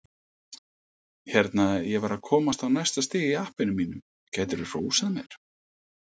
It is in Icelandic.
Hérna, ég var að komast á næsta stig í appinu mínu, gætirðu hrósað mér?